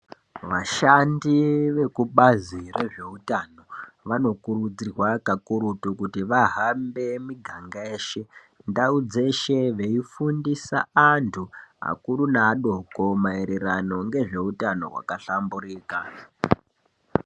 Vashandi vekubazi rezveutano vanokurudzirwa kakurutu kuti vahambe miganga yeshe, ndau dzeshe veifundisa antu, akuru neadoko maererano ngezveutano hwakahlamburika.